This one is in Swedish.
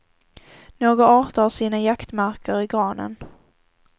Några arter har sina jaktmarker i granen.